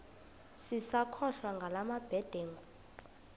sisakholwa ngala mabedengu